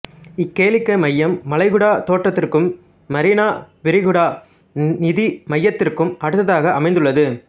இக்கேளிக்கை மையம் வளைகுடா தோட்டத்திற்கும் மரீனா விரிகுடா நிதி மையத்திற்கும் அடுத்ததாக அமைந்துள்ளது